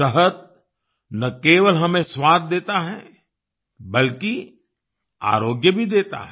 शहद न केवल हमें स्वाद देता है बल्कि आरोग्य भी देता है